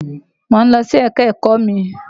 Mò ń lọ sí ẹ̀ka-ẹ̀kọ́ mi.